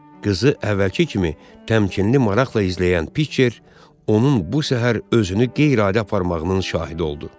Qızı əvvəlki kimi təmkinli maraqla izləyən Picher, onun bu səhər özünü qeyri-adi aparmağının şahidi oldu.